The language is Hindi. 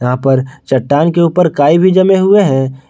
यहां पर चट्टान के ऊपर काई भी जमे हुए हैं।